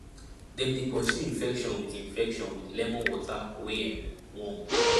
dem dey pursue infection with infection with lemon water wey um warm